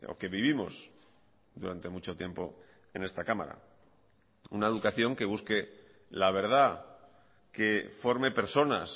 que vivimos durante mucho tiempo en esta cámara una educación que busque la verdad que forme personas